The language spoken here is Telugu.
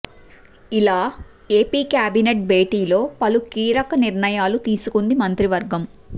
ఇలా ఏపీ కేబినెట్ భేటీలో పలు కీలక నిర్ణయాలు తీసుకుంది మంత్రివర్గం